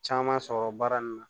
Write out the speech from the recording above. Caman sɔrɔ baara nin na